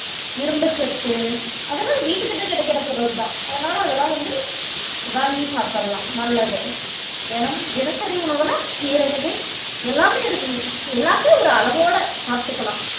இரும்புச் சத்து அதெல்லாம் வீட்டுக்கிட்ட கிடைக்கற பொருள்தான் அதனால அதெல்லாம் வந்து வாங்கி சாப்பிடலாம் நல்லது தினமும் தினசரி உணவுல கீரை வகை எல்லாமே இருக்கும் எல்லாமே ஒரு அளவோட சாப்பிட்டுக்கலாம்